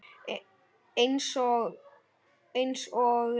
Einsog þú hefur.